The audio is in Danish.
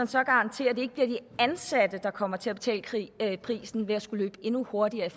så garantere at det ikke bliver de ansatte der kommer til at betale prisen ved at skulle løbe endnu hurtigere